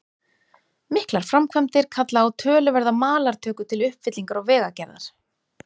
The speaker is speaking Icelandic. Miklar framkvæmdir kalla á töluverða malartöku til uppfyllingar og vegagerðar.